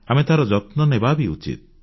ଆମେ ତାର ଯତ୍ନ ନେବା ବି ଉଚିତ